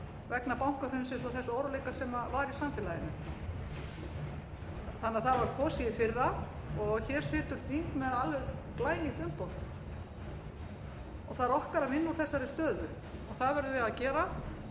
vegna bankahrunsins og þess óróleika sem var í samfélaginu það var kosið í fyrra og hér situr þing með alger glænýtt umboð og það er okkar að vinna úr þessari stöðu það verðum við að gera